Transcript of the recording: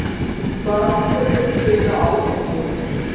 Var ákvörðunin byggð á áliti